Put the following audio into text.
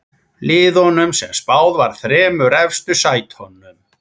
Liðunum sem spáð var þremur efstu sætunum.